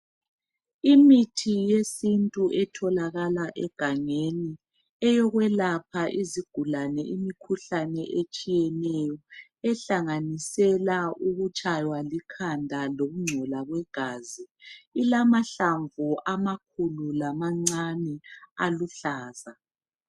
Imithi yesintu etholakala egangeni eyokwelapha izigulane imikhuhlane etshiyeneyo ehlanganisela ukutshaywa likhanda lokungcola kwegazi. Ilamahlamvu amakhulu lamancane aluhlaza.